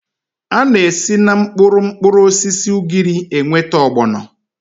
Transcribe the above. A na-esi na mkpụrụ mkpụrụosisi ugiri enweta ọgbọnọ